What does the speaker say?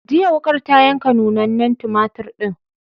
Jiya, wuƙar ta yanka nunnanen tumatur ɗin.